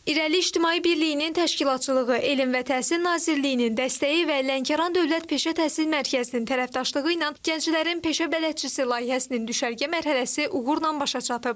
İrəli İctimai Birliyinin təşkilatçılığı, Elm və Təhsil Nazirliyinin dəstəyi və Lənkəran Dövlət Peşə Təhsil Mərkəzinin tərəfdaşlığı ilə gənclərin Peşə Bələdçisi layihəsinin düşərgə mərhələsi uğurla başa çatıb.